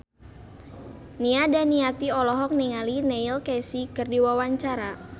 Nia Daniati olohok ningali Neil Casey keur diwawancara